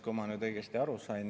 Kui ma nüüd õigesti aru sain …